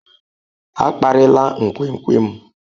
A kparịla nkwenkwe m.